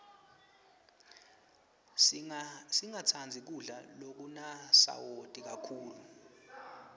singatsandzi kudla lokunasawati kakhulu